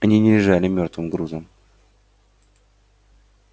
они не лежали мёртвым грузом